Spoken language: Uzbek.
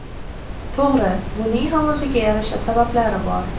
To‘g‘ri, buning ham o‘ziga yarasha sabablari bor.